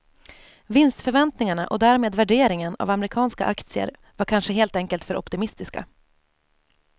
Vinstförväntningarna och därmed värderingen av amerikanska aktier var kanske helt enkelt för optimistiska.